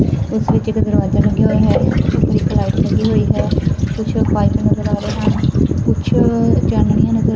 ਇਸ ਵਿੱਚ ਇੱਕ ਦਰਵਾਜਾ ਲੱਗਿਆ ਹੋਇਆ ਹੈ ਇੱਕ ਲਾਈਟ ਲੱਗੀ ਹੋਈ ਹੈ ਕੁਛ ਪਾਈਪ ਨਜ਼ਰ ਆ ਰਹੇ ਹਨ ਕੁਝ ਚਾਨਣੀਆਂ ਨਜ਼ਰ--